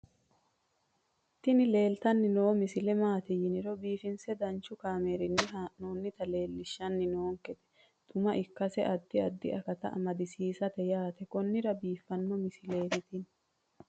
tini leeltanni noo misile maaati yiniro biifinse danchu kaamerinni haa'noonnita leellishshanni nonketi xuma ikkase addi addi akata amadaseeti yaate konnira biiffanno misileeti tini